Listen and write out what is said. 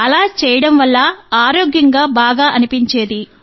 అలా చేయడం వల్ల ఆరోగ్యం బాగా అనిపించేది